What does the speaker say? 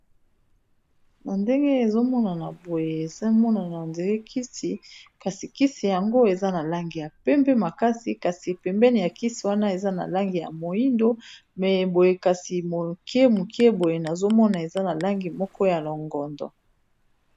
Na ndenge ezomonana boye ezomonana ondire kisi kasi kisi yango eza na langi ya pembe makasi kasi pembeni ya kisi wana eza na langi ya moyindo me boye kasi moke moke boye nazomona eza na langi moko ya longondo.